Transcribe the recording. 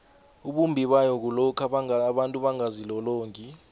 ubumbibayo bayo kulokha abantu bangazilolongi